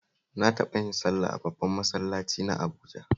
Na taɓa yin sallah a babban masallaci na Abuja